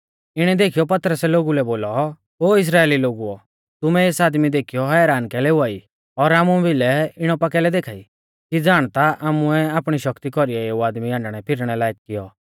इणै देखीयौ पतरसै लोगु लै बोलौ ओ इस्राइली लोगुओ तुमै एस आदमी देखीयौ हैरान कैलै हुआई और हामु भिलै इणौ पा कैलै देखा ई कि ज़ाण ता हामुऐ आपणी शक्ति कौरीऐ एऊ आदमी हांडणैफिरनै लायक कियौ